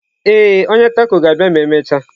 Ee, onye taco ga-abịa ma emechaa.